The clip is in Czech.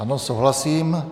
Ano, souhlasím.